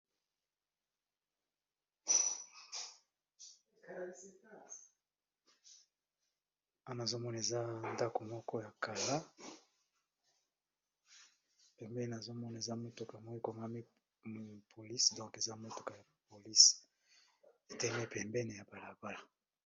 Awa nazomona eza ndako moko ya kala pembeni nazomona eza motuka moko ekomami police donk eza motuka ya police etelemi pembeni ya balabala.